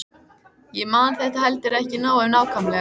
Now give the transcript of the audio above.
Ég man þetta heldur ekki nógu nákvæmlega.